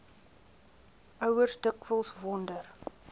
ouers dikwels wonder